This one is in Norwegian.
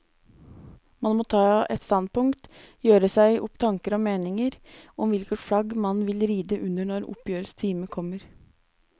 Man må ta et standpunkt, gjøre seg opp tanker og meninger om hvilket flagg man vil ride under når oppgjørets time kommer.